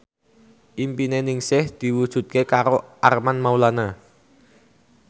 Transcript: impine Ningsih diwujudke karo Armand Maulana